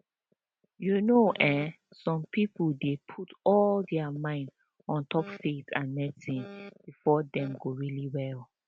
you know eh some pipo dey put all dia mind ontop faith and medicine befor dem go really well